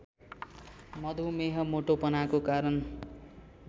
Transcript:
मधुमेह मोटोपनाको कारण